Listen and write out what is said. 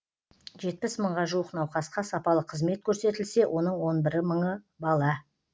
жетпіс мыңға жуық науқасқа сапалы қызмет көрсетілсе соның он бірі мыңы бала